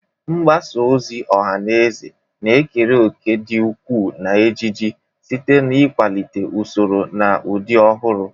Mgbasa ozi ọha na eze na-ekere òkè dị ukwuu na ejiji, site na ikwalite usoro na ụdị ọhụrụ.